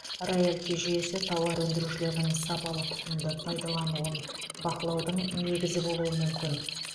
роялти жүйесі тауар өндірушілердің сапалы тұқымды пайдалануын бақылаудың негізі болуы мүмкін